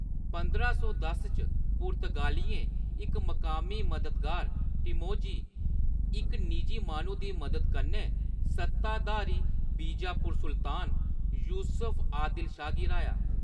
पंदरां सौ दस च, पुर्तगालियें इक मकामी मददगार, टिमोजी, इक निजी माह्‌नू दी मदद कन्नै सत्ताधारी बीजापुर सुल्तान यूसुफ आदिल शाह गी हराया।